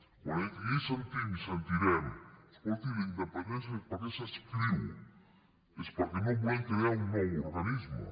quan aquí sentim i sentirem escolti la independència per què s’inscriu és perquè no volem crear un nou organisme